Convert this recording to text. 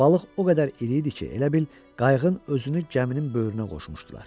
Balıq o qədər iri idi ki, elə bil qayıqın özünü gəminin böyrünə qoşmuşdular.